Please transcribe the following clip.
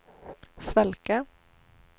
svalka